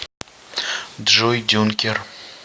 джой дюнкер